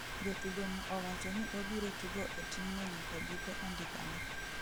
Jatugo no owacho ni obiro tugo e team no nyaka giko andika ne